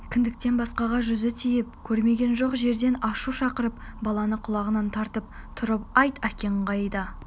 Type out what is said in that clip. кіндіктен басқаға жүзі тиіп көрмеген жоқ жерден ашу шақырып баланы құлағынан тартып тұрып айт әкең қайда